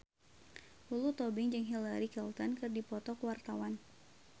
Lulu Tobing jeung Hillary Clinton keur dipoto ku wartawan